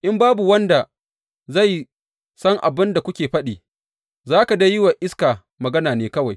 In babu wanda zai san abin da kuke faɗi, za ka dai yi wa iska magana ne kawai.